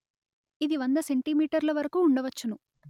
ఇది వంద సెంటీమీటర్ ల వరకు ఉండవచ్చును